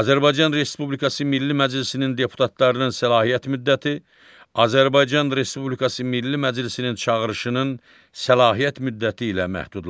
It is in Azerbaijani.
Azərbaycan Respublikası Milli Məclisinin deputatlarının səlahiyyət müddəti Azərbaycan Respublikası Milli Məclisinin çağırışının səlahiyyət müddəti ilə məhdudlaşır.